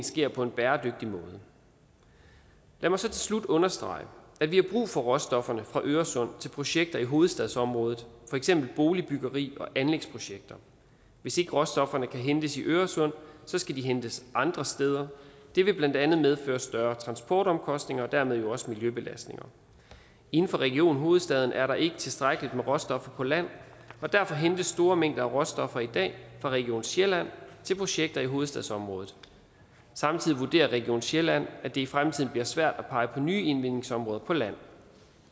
sker på en bæredygtig måde lad mig så til slut understrege at vi har brug for råstofferne fra øresund til projekter i hovedstadsområdet for eksempel boligbyggeri og anlægsprojekter hvis ikke råstofferne kan hentes i øresund skal de hentes andre steder det vil blandt andet medføre større transportomkostninger og dermed jo også miljøbelastning inden for region hovedstaden er der ikke tilstrækkeligt med råstoffer på land og derfor hentes store mængder af råstoffer i dag fra region sjælland til projekter i hovedstadsområdet samtidig vurderer region sjælland at det i fremtiden bliver svært at pege på nye indvindingsområder på land